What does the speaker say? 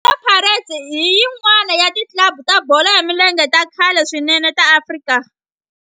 Orlando Pirates i yin'wana ya ti club ta bolo ya milenge ta khale swinene ta Afrika.